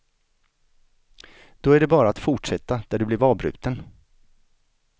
Då är det bara att fortsätta där du blev avbruten.